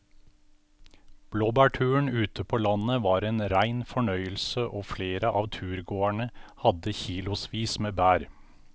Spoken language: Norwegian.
Blåbærturen ute på landet var en rein fornøyelse og flere av turgåerene hadde kilosvis med bær.